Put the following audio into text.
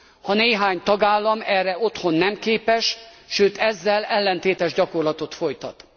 Ha néhány tagállam erre otthon nem képes, sőt ezzel ellentétes gyakorlatot folytat?